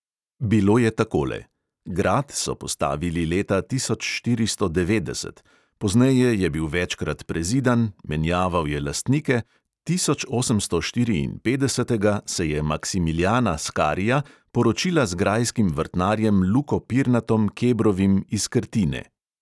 Bilo je takole: grad so postavili leta tisoč štiristo devetdeset, pozneje je bil večkrat prezidan, menjaval je lastnike, tisočosemstoštiriinpetdesetega se je maksimilijana skarija poročila z grajskim vrtnarjem luko pirnatom – kebrovim iz krtine.